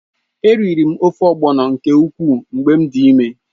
Eriri m ofe ogbọ̀nọ nke ukwuu mgbe m dị ịme.